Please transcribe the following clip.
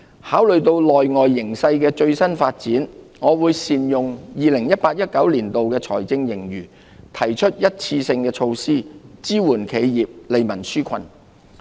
考慮到內外形勢的最新發展，我會善用 2018-2019 年度財政盈餘，提出一次性措施，支援企業，利民紓困。